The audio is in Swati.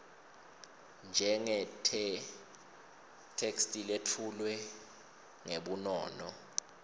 njengetheksthi letfulwe ngebunono